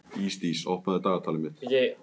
Ísdís, opnaðu dagatalið mitt.